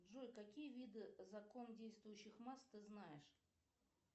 джой какие виды закон действующих масс ты знаешь